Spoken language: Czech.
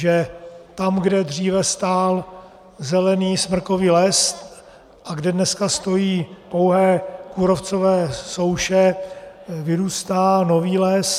Že tam, kde dříve stál zelený smrkový les a kde dneska stojí pouhé kůrovcové souše, vyrůstá nový les.